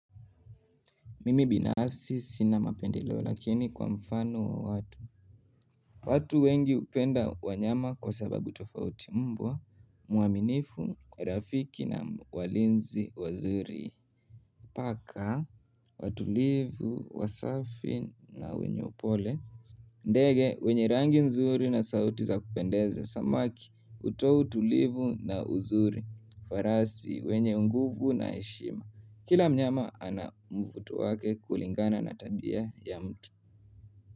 Mimi binafsi sina mapendeleo lakini kwa mfano wa watu watu wengi hupenda wanyama kwa sababu tofauti. Mbwa mwaminifu, rafiki na walinzi wazuri. Paka, watulivu, wasafi na wenye upole. Ndege, wenye rangi nzuri na sauti za kupendeza. Samaki, hutoa utulivu na uzuri. Farasi, wenye nguvu na heshima kila mnyama ana mvuto wake kulingana na tabia ya mtu.